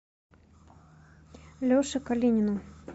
леше калинину